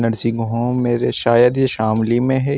Nursing home मेरे शायद ये शामली में है।